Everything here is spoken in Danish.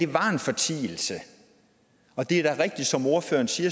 var en fortielse og det ordføreren siger